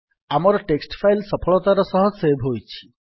ଆମର text file ସଫଳତାର ସହିତ ସେଭ୍ ହୋଇଛି